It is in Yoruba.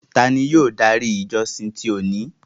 Tání yóò dári ìjọ̀ṣìn ti óni?